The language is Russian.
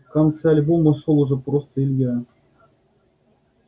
в конце альбома шёл уже просто илья